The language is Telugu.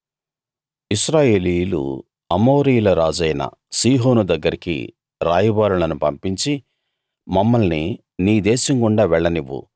ఇశ్రాయేలీయులు అమోరీయుల రాజైన సీహోను దగ్గరికి రాయబారులను పంపించి మమ్మల్ని నీ దేశం గుండా వెళ్లనివ్వు